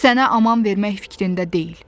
Sənə aman vermək fikrində deyil.